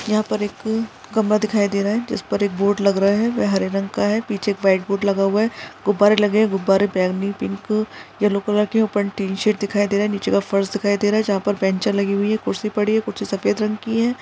यहा पर एक कमरा दिखाई दे रहा है जिस पर एक बोर्ड लग रहा है वह हरे रंग का है पीछे एक वाइट बोर्ड लगा हुआ है गुब्बारे लगे हुए है गुब्बारे ब्राउन पिंक येलो कलर के ऊपर टीन शेड दिखाई दे रहा है नीचे का फर्श दिखाई दे रहा है जहा पर बेंच लगी हुई है कुर्सी पड़ी है कुछ सफ़ेद रंग की है।